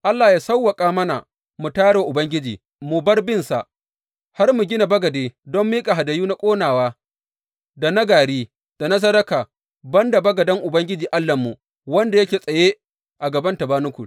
Allah ya sawwaƙa mana mu tayar wa Ubangiji mu bar binsa, har mu gina bagade don miƙa hadayu na ƙonawa, da na gari, da na sadaka, ban da bagaden Ubangiji Allahnmu wanda yake tsaye a gaban tabanakul.